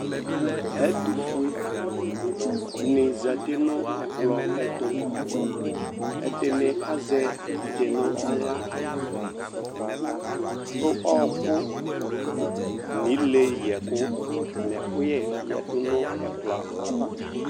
Ɛtufue dini zati nu ɛkplɔ di tu ɛdini azɛ evidze nu aɣla ku ɔku nu ile yɛku nu ɛkuyɛ yadu nu ɛkplɔɛ ava